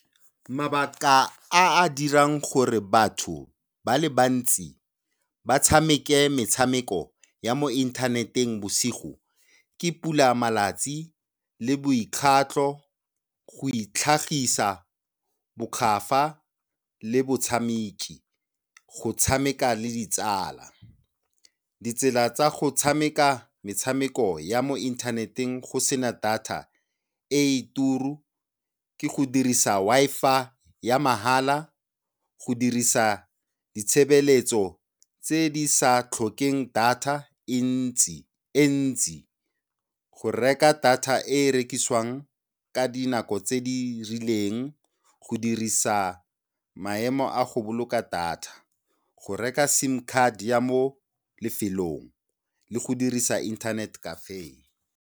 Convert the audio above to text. Mabaka a a dirang gore batho ba le bantsi ba tshameke metshameko ya mo inthaneteng bosigo ke pulamalatsi le boikgatlo, go itlhagisa, bokgafa le botshameki, go tshameka le ditsala. Ditsela tsa go tshameka metshameko ya mo inthaneteng go sena data e e turu ke go dirisa Wi-Fi ya mahala, go dirisa ditshebeletso tse di sa tlhokeng data e ntsi , go reka data e e rekisiwang ka dinako tse di rileng, go dirisa maemo a go boloka data, go reka sim card ya mo lefelong le go dirisa Internet Cafe.